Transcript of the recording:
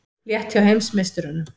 Létt hjá heimsmeisturunum